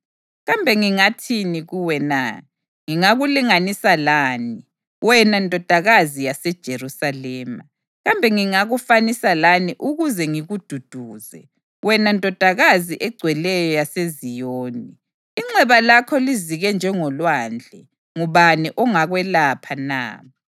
Kambe ngingathini kuwe na? Ngingakulinganisa lani, wena Ndodakazi yaseJerusalema? Kambe ngingakufanisa lani ukuze ngikududuze, wena Ndodakazi eGcweleyo yaseZiyoni? Inxeba lakho lizike njengolwandle. Ngubani ongakwelapha na?